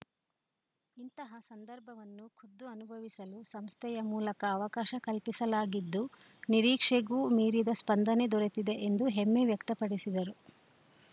ಇಂತಹ ಸಂದರ್ಭವನ್ನು ಖುದ್ದು ಅನುಭವಿಸಲು ಸಂಸ್ಥೆಯ ಮೂಲಕ ಅವಕಾಶ ಕಲ್ಪಿಸಲಾಗಿದ್ದು ನಿರೀಕ್ಷೆಗೂ ಮೀರಿದ ಸ್ಪಂದನೆ ದೊರೆತಿದೆ ಎಂದು ಹೆಮ್ಮೆ ವ್ಯಕ್ತಪಡಿಸಿದರು